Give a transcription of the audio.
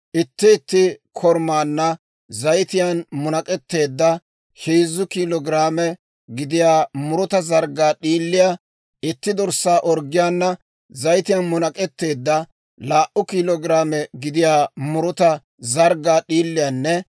Itti itti korumaanna zayitiyaan munak'etteedda heezzu kiilo giraame gidiyaa muruta zarggaa d'iiliyaa, itti dorssaa orggiyaana zayitiyaan munak'etteedda laa"u kiilo giraame gidiyaa muruta zarggaa d'iiliyaanne